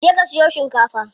Je ka siyo shikafa.